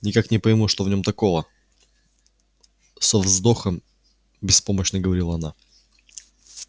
никак не пойму что в нем такого со вздохом беспомощно говорила она